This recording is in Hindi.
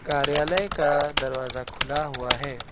कार्यालय का दरवाजा खुला हुआ है।